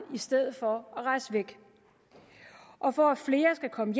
i stedet for at rejse væk og for at flere skal komme